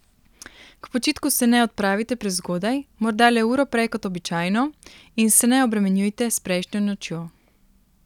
K počitku se ne odpravite prezgodaj, morda le uro prej kot običajno, in se ne obremenjujte s prejšnjo nočjo.